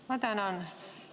Ma tänan.